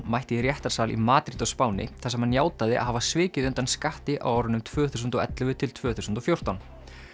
mætti í réttarsal í Madríd á Spáni þar sem hann játaði að hafa svikið undan skatti á árunum tvö þúsund og ellefu til tvö þúsund og fjórtán